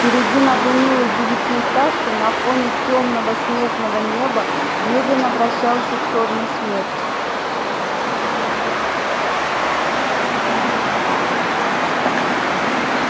впереди над унылой девятиэтажкой на фоне тёмного снежного неба медленно вращался чёрный смерч